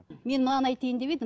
мен мынаны айтайын деп едім